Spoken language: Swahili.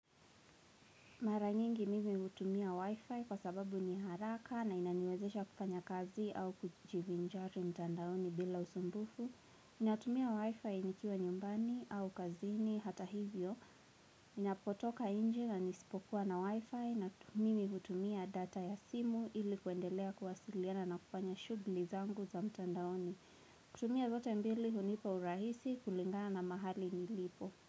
Mara nyingi mimi hutumia wifi kwa sababu ni haraka na inaniwezesha kufanya kazi au kujivinjari mtandaoni bila usumbufu. Natumia wifi nikiwa nyumbani au kazini hata hivyo. Napotoka nje na nisipokuwa na wifi mimi hutumia data ya simu ili kuendelea kuwasiliana na kufanya shughuli zangu za mtandaoni. Kutumia zote mbili hunipa urahisi kulingana mahali nilipo.